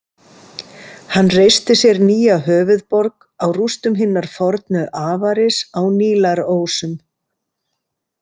Hann reisti sér nýja höfuðborg á rústum hinnar fornu Avaris á Nílarósum.